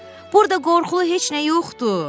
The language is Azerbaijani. Burda qorxulu heç nə yoxdur.